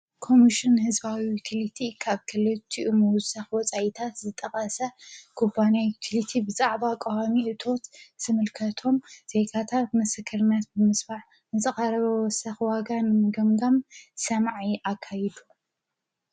ኮሙሽን ሕዝባዊ ዩጢሊቲ ካብ ከልቲኡሙዝሠኽወ ፃይታት ዝጠቓሰ ግባንያ ዩቲሊቲ ብዛዕባ ቐሃሚ እቶት ስምልከቶም ዘይካታብ መሰከርማያት ብምስፋዕ ንፀቓረበዝሠኽ ዋጋን ምገምጋም ሰማዐ ኣካይዱ።